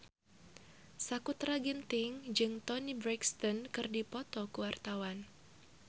Sakutra Ginting jeung Toni Brexton keur dipoto ku wartawan